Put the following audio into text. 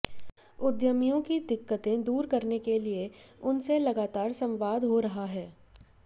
उद्यमियों की दिक्कतें दूर करने के लिए उनसे लगातार संवाद हो रहा है